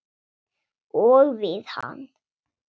Og við hann.